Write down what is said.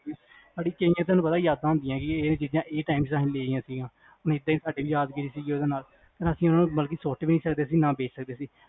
ਤੁਹਾਨੂੰ ਪਤਾ ਯਾਦਾਂ ਹੁੰਦੀਆਂ ਉਸ time ਲਈਆਂ ਸੀ ਗੀਆਂ ਹੁਣ ਐਦਾਂ ਈ ਯਾਦਗਿਰੀ ਸੀਗੀ ਉਹਦੇ ਨਾਲ ਓਹਨਾ ਨੂੰ ਬਲਕਿ ਸੁੱਟ ਵੀ ਨੀ ਸਕਦੇ ਸੀ ਨਾ ਵੇਚ ਸਕਦੇ ਸੀ